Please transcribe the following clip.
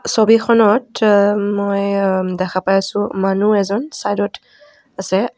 ছবিখনত আ মই আ দেখা পাই আছোঁ মানুহ এজন চাইদ ত আছে.